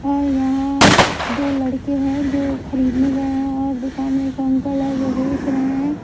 और यहाँ दो लड़के हैं जो खरीदने गए हैं और दुकान में एक अंकल है जो बेच रहे हैं।